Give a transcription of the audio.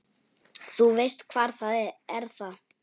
Þú veist, hvað er það?